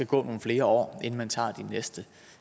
gå nogle flere år inden man tager de næste